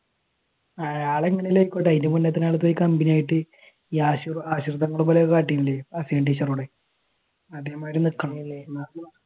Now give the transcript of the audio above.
ആളെങ്ങനെ എങ്കിലും ആയിക്കോട്ടെ അതിനുമുൻപ് തന്നെ ആൾടെ അടുത്തുപോയി കമ്പനി ആയിട്ട് ടീച്ചറോട് അതേമാതിരി നിക്കണം അല്ലെ നിക്കാ